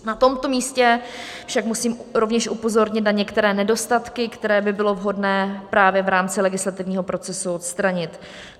Na tomto místě však musím rovněž upozornit na některé nedostatky, které by bylo vhodné právě v rámci legislativního procesu odstranit.